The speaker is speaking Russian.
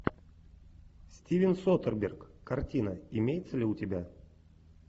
стивен содерберг картина имеется ли у тебя